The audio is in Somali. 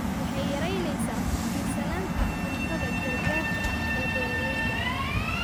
Waxay yaraynaysaa ku tiirsanaanta cuntada gargaarka ah ee beeralayda.